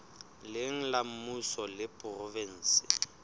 leng la mmuso le provenseng